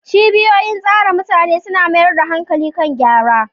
Cibiyoyin tsare mutane suna mayar da hankali kan gyarawa